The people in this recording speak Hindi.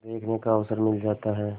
देखने का अवसर मिल जाता है